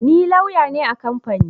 Ni lauya ne a kamfani